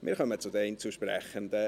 Wir kommen zu den Einzelsprechenden: